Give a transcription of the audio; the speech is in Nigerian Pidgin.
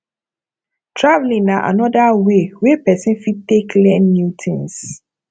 travelling na anoda way wey person fit take learn new things